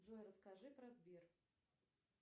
джой расскажи про сбер